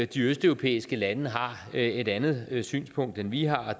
de østeuropæiske lande har et andet synspunkt end vi har og